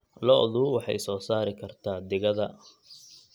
Lo'du waxay soo saari kartaa digada.